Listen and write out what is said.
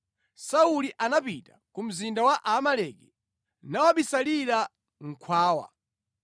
Sauli anapita ku mzinda wa Aamaleki nawubisalira mʼkhwawa.